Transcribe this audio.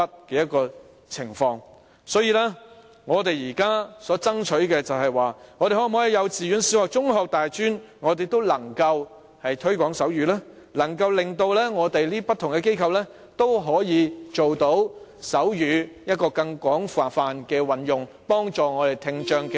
因此，我們現在所爭取的，就是可否在幼稚園、小學、中學、大專都能推廣手語，從而令不同機構也可以廣泛運用手語，幫助聽障學生以至成年人呢？